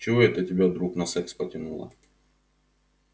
чего это тебя вдруг на секс потянуло